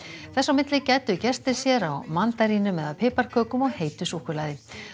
þess á milli gæddu gestir sér á mandarínum eða piparkökum og heitu súkkulaði